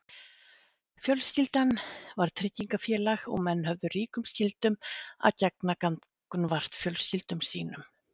fjölskyldan var tryggingafélag og menn höfðu ríkum skyldum að gegna gagnvart fjölskyldum sínum